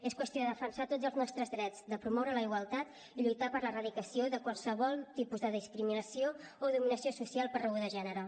és qüestió de defensar tots els nostres drets de promoure la igualtat i lluitar per l’erradicació de qualsevol tipus de discriminació o dominació social per raó de gènere